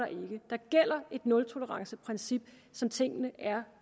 der gælder et nultoleranceprincip som tingene er